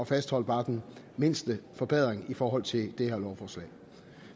fastholde bare den mindste forbedring i forhold til det her lovforslag